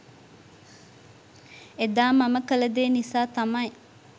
එදා මම කළ දේ නිසා තමයි